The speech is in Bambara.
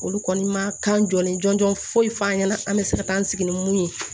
Olu kɔni ma kan jɔn jɔn foyi f'an ɲɛna an bɛ se ka taa an sigi ni mun ye